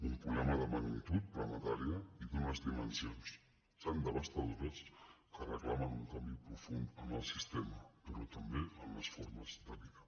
un problema de magni·tud planetària i d’unes dimensions tan devastadores que reclamen un canvi profund en el sistema però també en les formes de vida